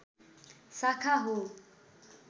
शाखा हो